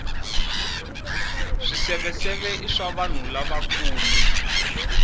swiseveseve i swa vanhu lavakulu